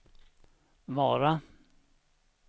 Vara